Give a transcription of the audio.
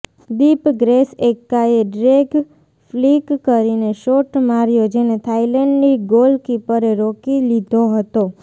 દીપ ગ્રેસ એક્કાએ drag flick કરીને shot માર્યો જેને થાઇલેન્ડની ગોલકીપરે રોકી લીધો હતો